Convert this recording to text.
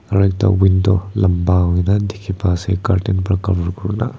aru ekta window lamba hoikena dikhi pa ase curtain para cover kuri na.